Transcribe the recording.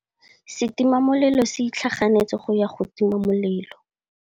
Setima molelô se itlhaganêtse go ya go tima molelô.